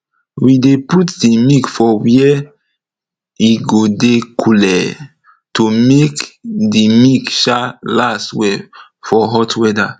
we dey put d milk for were e go dey cooley to make de milk um last well for hot weather